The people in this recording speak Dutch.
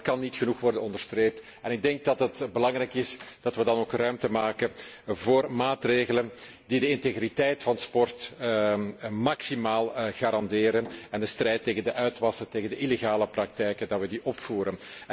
Het kan echter niet genoeg worden onderstreept en ik denk dat het belangrijk is dat wij dan ook ruimte scheppen voor maatregelen die de integriteit van sport maximaal garanderen en de strijd tegen de uitwassen, tegen de illegale praktijken opvoeren.